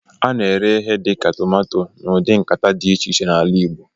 A na-ere ihe dị ka tomato n'ụdị nkata dị iche iche n'ala Igbo